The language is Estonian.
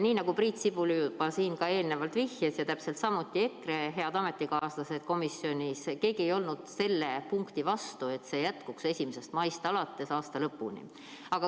Nii nagu Priit Sibul juba eelnevalt vihjas ja täpselt samuti EKRE head ametikaaslased komisjonis, ei olnud keegi selle vastu, et see jätkuks 1. maist kuni aasta lõpuni.